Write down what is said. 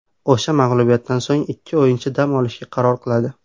O‘sha mag‘lubiyatdan so‘ng ikki o‘yinchi dam olishga qaror qiladi.